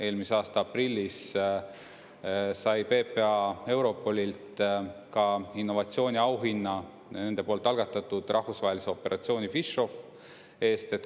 Eelmise aasta aprillis sai PPA Europolilt ka innovatsiooniauhinna nende poolt algatatud rahvusvahelise operatsiooni PhishOFF eest.